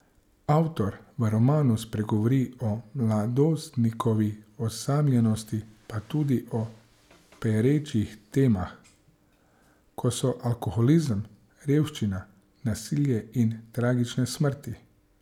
Avtor v romanu spregovori o mladostnikovi osamljenosti pa tudi o perečih temah, kot so alkoholizem, revščina, nasilje in tragične smrti.